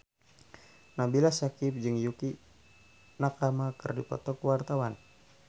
Nabila Syakieb jeung Yukie Nakama keur dipoto ku wartawan